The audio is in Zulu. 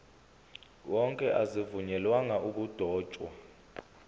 wonke azivunyelwanga ukudotshwa